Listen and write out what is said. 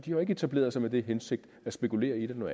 jo ikke etableret sig med den hensigt at spekulere i det men